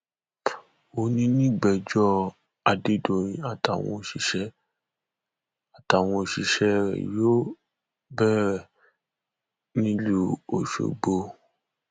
òní nìgbẹjọ adédọyìn àtàwọn òṣìṣẹ àtàwọn òṣìṣẹ rẹ yóò bẹrẹ nílùú ọṣọgbó